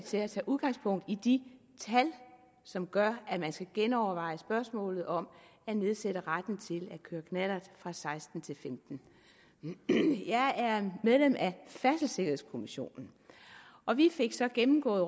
til at tage udgangspunkt i de tal som gør at man skal genoverveje spørgsmålet om at nedsætte retten til at køre knallert fra seksten til femten år jeg er medlem af færdselssikkerhedskommissionen og vi fik så gennemgået